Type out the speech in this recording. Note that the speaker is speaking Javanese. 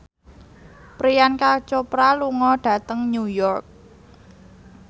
Priyanka Chopra lunga dhateng New York